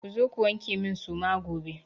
Zo ku wanke min suma gobe!